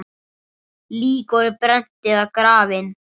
Lík voru brennd eða grafin.